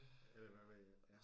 Eller hvad ved jeg